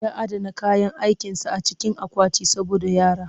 Ya adana kayan aikinsa a cikin akwati saboda yara